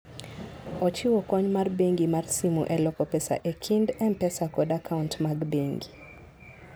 Ochiwo kony mar bengi mar simu e loko pesa e kind M-Pesa kod akaunt mag bengi.